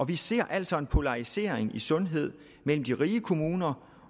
vi ser altså en polarisering i sundhed mellem de rige kommuner